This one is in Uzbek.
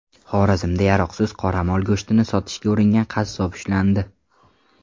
Xorazmda yaroqsiz qoramol go‘shtini sotishga uringan qassob ushlandi.